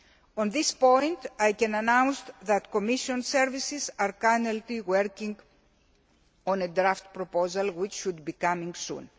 On this point, I can announce that Commission services are currently working on a draft proposal which should be coming soon.